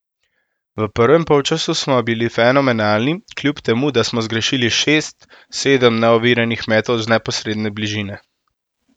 V prvem polčasu smo bili fenomenalni, kljub temu da smo zgrešili šest, sedem neoviranih metov z neposredne bližine.